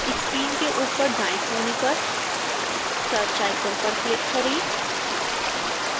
screen के ऊपर दाएं कोने पर search आइकन पर क्लिक करें